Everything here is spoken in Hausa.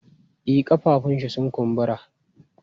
E, ƙafafuwanshi sun kumbura.